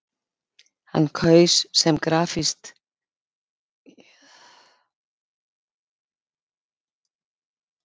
Hann kaus sem grafskrift sína orðin: Hér hvílir sá sem letraði nafn sitt á vatnsflötinn.